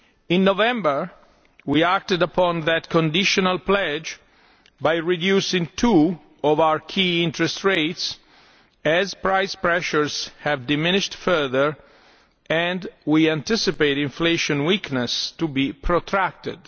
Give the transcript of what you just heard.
In November we acted upon that conditional pledge by reducing two of our key interest rates, as price pressures have diminished further and we anticipate inflation weakness to be protracted.